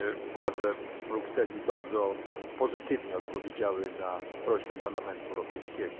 Władze Brukseli bardzo pozytywnie odpowiedziały na prośbę Parlamentu Europejskiego.